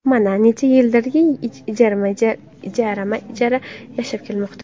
Mana, necha yildirki ijarama-ijara yashab kelmoqda.